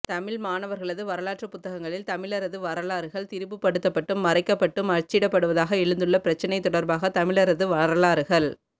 தமிழ் மாணவர்களது வரலாற்றுப் புத்தகங்களில் தமிழரது வரலாறுகள் திரிபு படுத்தப்பட்டும் மறைக்கப்பட்டும் அச்சிடப்படுவதாக எழுந்துள்ள பிரச்சினை தொடர்பாக தமிழரது வரலாறுகள்